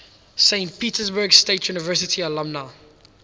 saint petersburg state university alumni